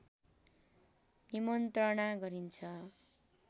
निमन्त्रणा गरिन्छ